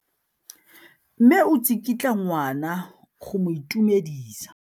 Mme o tsikitla ngwana go mo itumedisa.